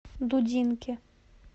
дудинки